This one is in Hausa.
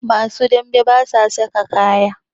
Masu dame basa saka kaya